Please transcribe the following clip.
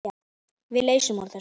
Við leysum úr þessu.